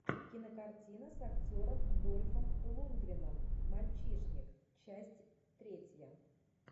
кинокартина с актером дольфом лундгреном мальчишник часть третья